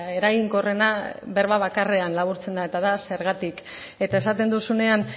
eraginkorrena berba bakarrean laburtzen da eta da zergatik eta esaten duzunean